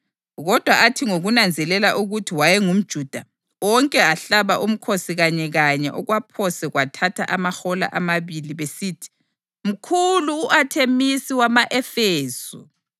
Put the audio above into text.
Kodwa athi ngokunanzelela ukuthi wayengumJuda, onke ahlaba umkhosi kanyekanye okwaphose kwathatha amahola amabili, besithi, “Mkhulu u-Athemisi wama-Efesu!”